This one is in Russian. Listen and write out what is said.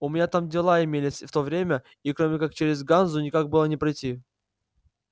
у меня там дела имелись в то время и кроме как через ганзу никак было не пройти